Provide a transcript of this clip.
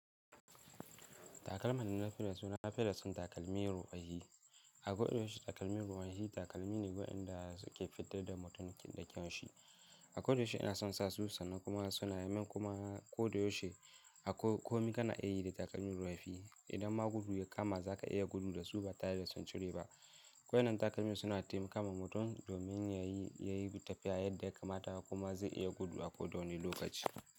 Takalma na nufin suna fiye da son takalmi rufe. A koda yaushe takalmi rufe takalmi ne waɗanda suke fitad da mutumin da kyan shi. A kodabyaushe ina son sa su sannan kuma suna yaman kuma koyaushe a komi kana a yi da takalmi rufi. Idan ma gudu ya kama zaka iya gudu da su ba tare da son cire ba. Wannan takalma suna taimakawa mutum domin yayi yayi tafiya yadda ya kamata kuma zai iya gudu a ko wane lokaci.